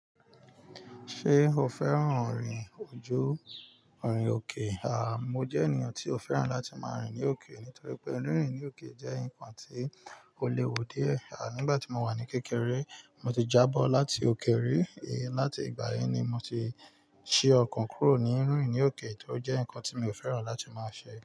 Ṣé o fẹ́ràn rin ojú, rin òkè? Mo jẹ́ ènìyàn tí ò fẹ́ràn láti máa rìn ní òkè nítorí pé rínrìn ní òkè jẹ́ nǹkan tí ó léwu díẹ̀. Nígbà tí mo wà ní kékeré, mo ti jábọ́ láti òkè rí. Láti ìgbà yẹn ni mo ti ṣe ọkàn kúrò ní rínrìn ní òkè, tó jẹ́ nǹkan tí mi ò fẹ́ràn láti máa ṣe.